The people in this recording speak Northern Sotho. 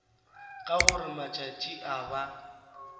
ka gore matšatši a ba